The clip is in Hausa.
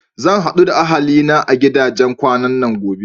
Zan haɗu da ahali na a gidajen kwanan gobe.